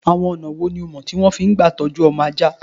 Àwọn ọ̀nà wò ni ìọ mọ̀ tí wọ́n fi ń gbà tọjú ọmọ ajá?